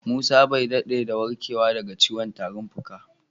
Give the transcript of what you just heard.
Musa bai dada da warkewa da ga ciwon tarin fuka.